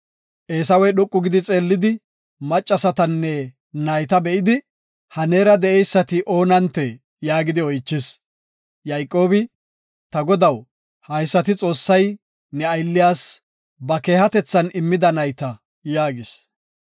Eesawey dhoqu gidi xeellidi maccasatanne nayta be7idi, “Ha neera de7eysati oonantee?” yaagidi oychis. Yayqoobi, “Ta godaw, haysati Xoossay ne aylliyas ba keehatethan immida nayta” yaagis.